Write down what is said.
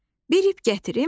Bir ip gətirim.